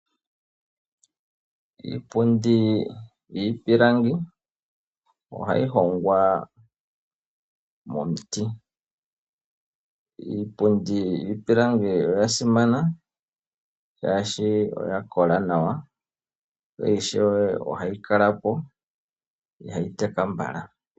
Iipundi yiipilangi ohagi hongwa momiti. Iipundi yiipilangi oya simana shaashi oya kola nawa, yo ishewe ohayi kala po. Ihayi teka mbala.